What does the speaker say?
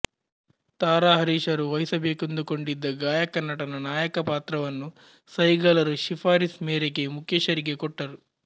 ತಾರಾಹರೀಶರು ವಹಿಸಬೇಕೆಂದುಕೊಂಡಿದ್ದ ಗಾಯಕನಟನ ನಾಯಕ ಪಾತ್ರವನ್ನು ಸೈಗಲರು ಶಿಫಾರಿಸ್ ಮೇರೆಗೆ ಮುಕೇಶರಿಗೆ ಕೊಟ್ಟರು